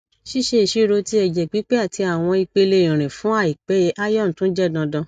ṣiṣe iṣiro ti ẹjẹ pipe ati awọn ipele irin fun aipe iron tun jẹ dandan